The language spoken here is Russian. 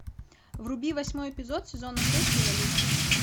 вруби восьмой эпизод сезона шесть революция